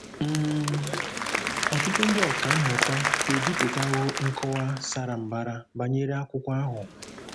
um Ọtụtụ ndị ọkà mmụta ebipụtawo nkọwa sara mbara banyere akwụkwọ ahụ.